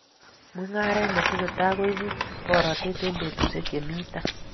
Mungaret ne tesetai koibu boratet eng betusiek che mi tai